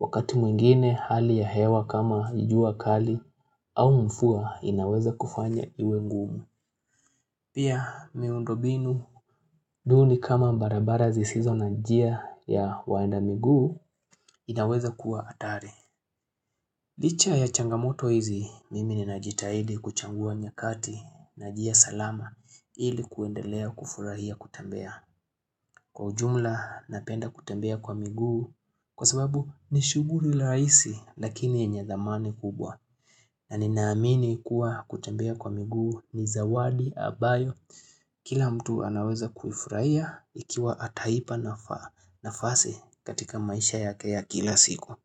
wakati mwingine hali ya hewa kama jua kali au mvua inaweza kufanya iwe ngumu. Pia miundombinu duni kama barabara zisizo na njia ya waenda miguu inaweza kuwa hatari. Licha ya changamoto hizi mimi ninajitahidi kuchagua nyakati na njia salama ili kuendelea kufurahia kutembea. Kwa ujumla napenda kutembea kwa miguu kwa sababu ni shughuli rahisi lakini yenye thamani kubwa. Na ninaamini kuwa kutembea kwa miguu ni zawadi ambayo Kila mtu anaweza kufurahia ikiwa ataipa nafasi katika maisha yake ya kila siku.